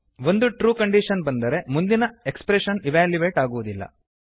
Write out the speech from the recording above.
ಒಂದು true condition ಬಂದರೆ ಮುಂದಿನ ಎಕ್ಸ್ಪ್ರೆಶನ್ ಇವ್ಯಾಲ್ಯುಯೇಟ್ ಆಗುವುದಿಲ್ಲ